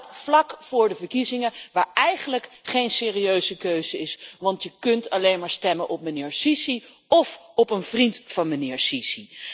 En dat vlak voor de verkiezingen, waar eigenlijk geen serieuze keuze is, want je kunt alleen maar stemmen op meneer Sisi of een vriend van meneer Sisi.